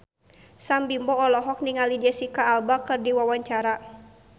Sam Bimbo olohok ningali Jesicca Alba keur diwawancara